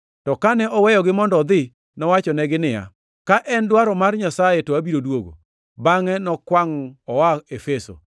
To kane oweyogi mondo odhi, nowachonegi niya, “Ka en dwaro mar Nyasaye, to abiro duogo.” Bangʼe nokwangʼ oa Efeso.